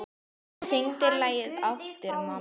Syngdu lagið aftur, mamma